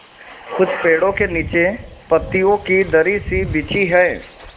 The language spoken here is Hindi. कुछ पेड़ो के नीचे पतियो की दरी सी बिछी है